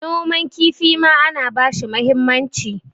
noman kifi ma ana bashi muhimmanci